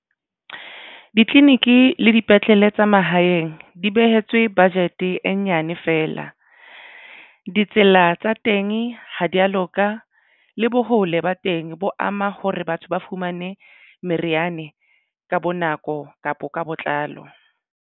Ditleliniki le dipetlele tsa mahaeng di behetswe budget e nyane fela ditsela tsa teng ha di ya loka le bo hole ba teng bo ama hore batho ba fumane meriana ka bo nako kapo ka botlalo.